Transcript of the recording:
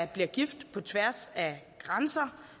bliver gift på tværs af grænser